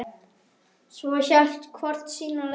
Svo hélt hvort sína leið.